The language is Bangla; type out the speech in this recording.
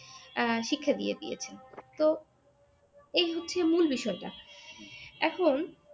আহ শিক্ষা দিয়ে দিয়েছেন তো এই হচ্ছে মূল বিষয়টা এখন